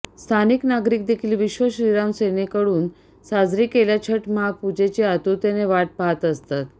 स्थानिक नागरीक देखील विश्व श्रीराम सेनेकडून साजरी केल्या छठ महापूजेची आतुरतेने वाट पाहत असतात